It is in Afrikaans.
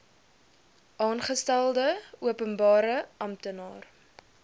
aangestelde openbare amptenaar